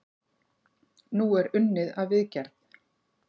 Nú er unnið að viðgerð.